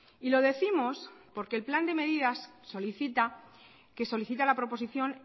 y lo décimos porque el plan de medidas solicita que solicita la proposición